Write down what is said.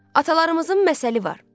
Atalarımızın məsəli var.